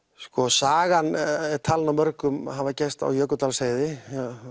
sagan er talin af mörgum hafa gerst á Jökuldalsheiði